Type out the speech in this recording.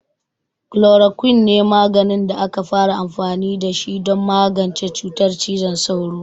Chloroquine ne maganin da aka fara amfani da shi don magance cutar cizon sauro.